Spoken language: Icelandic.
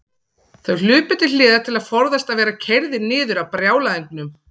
Þeir hlupu til hliðar til að forðast að verða keyrðir niður af brjálæðingnum.